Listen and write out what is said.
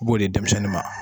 N b'o di denmisɛnnin ma.